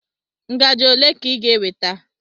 ngaji ole ka ị ga-eweta?